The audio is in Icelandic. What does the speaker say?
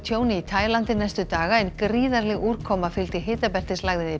tjóni í Taílandi næstu daga en gríðarleg úrkoma fylgdi